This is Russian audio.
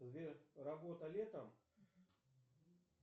сбер работа летом